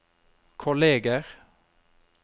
kolleger